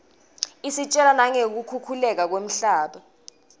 isitjela nangeku khukhuleka kwemhlaba